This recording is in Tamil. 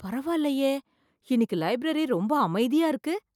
பரவாயில்லயே, இன்னைக்கு லைப்ரரி ரொம்ப அமைதியா இருக்கு.